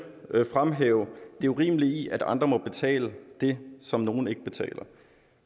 vil jeg fremhæve det urimelige i at andre må betale det som nogle ikke betaler